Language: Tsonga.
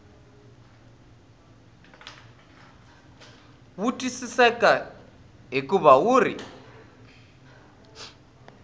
wu twisiseki hikuva wu ri